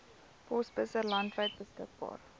posbusse landwyd beskikbaar